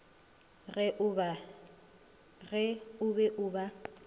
ge o be o ba